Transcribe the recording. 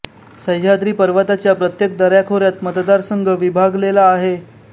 सह्याद्री पर्वताच्या प्रत्येक दऱ्याखोऱ्यात मतदार संघ विभागलेला आहे